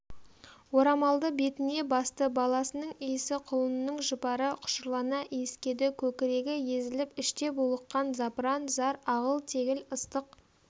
орамалды бетіне басты баласының иісі құлынының жұпары құшырлана иіскеді көкірегі езіліп іште булыққан запыран-зар ағыл-тегіл ыстық